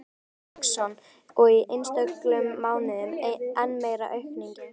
Björn Þorláksson: Og í einstökum mánuðum enn meiri aukning?